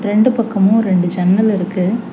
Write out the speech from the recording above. ரெண்டு பக்கமு ரெண்டு ஜன்னல் இருக்கு.